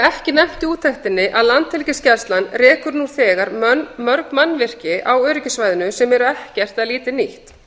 ekki nefnt í úttektinni að landhelgisgæslan rekur nú þegar mörg mannvirki á öryggissvæðinu sem eru ekkert eða lítið nýtt